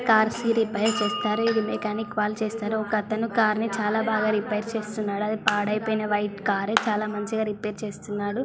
Cars కి repair చేస్తారు ఇది మెకానిక్ వాళ్ళు చేస్తారు ఒక అతను కార్ని చాలా బాగా రిపేర్ చేస్తున్నారు అది పాడైపోయిన వైట్ కార్ చానా మంచిగా రిపేర్ చేస్తున్నాడు.